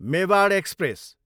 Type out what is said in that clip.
Mewar express